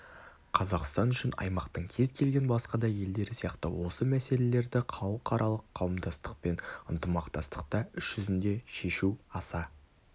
қазақстан үшін аймақтың кез келген басқа да елдері сияқты осы мәселелерді халықаралық қауымдастықпен ынтымақтастықта іс жүзінде шешу аса